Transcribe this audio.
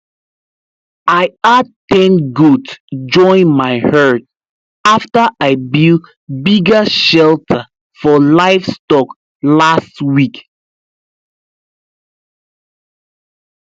i add ten goat join my herd after i build bigger shelter for livestock last week